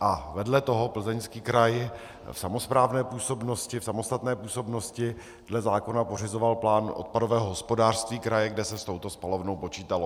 a vedle toho Plzeňský kraj v samosprávné působnosti, v samostatné působnosti dle zákona pořizoval plán odpadového hospodářství kraje, kde se s touto spalovnou počítalo.